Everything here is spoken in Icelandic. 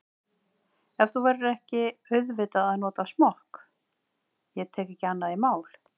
En þú verður auðvitað að nota smokk, ég tek ekki annað í mál.